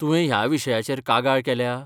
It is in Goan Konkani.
तुवें ह्या विशयाचेर कागाळ केल्या?